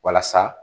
Walasa